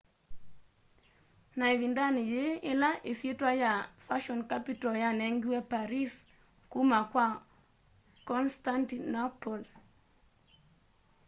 ni ivindani yii ila isyitwa ya fashion capital yanengiwe paris kuma kwa constantinople